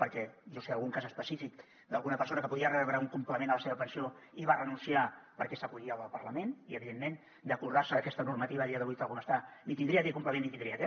perquè jo sé d’algun cas específic d’alguna persona que podia rebre un complement a la seva pensió i hi va renunciar perquè s’acollia a la del parlament i evidentment d’acordar se aquesta normativa a dia d’avui tal com està ni tindria aquest complement ni tindria aquest